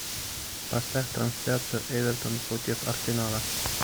поставь трансляцию эвертон против арсенала